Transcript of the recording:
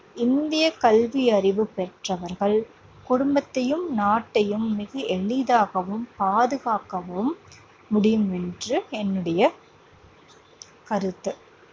இந்திய கல்வி அறிவு பெற்றவர்கள் குடும்பத்தையும், நாட்டையும் மிக எளிதாகவும் பாதுகாக்கவும் முடியும் என்று என்னுடைய கருத்து.